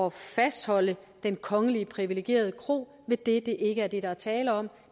at fastholde den kongeligt privilegerede kro ved det at det ikke er det der er tale om